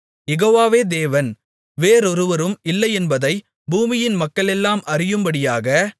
யெகோவாவே தேவன் வேறொருவரும் இல்லையென்பதை பூமியின் மக்களெல்லாம் அறியும்படியாக